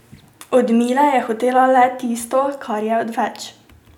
Od Mile je hotela le tisto, kar je odveč.